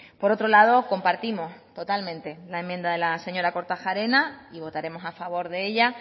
por otro lado compartimos totalmente la enmienda de la señora kortajarena y votaremos a favor de ella